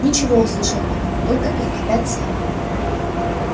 ничего услышал он только их опять семь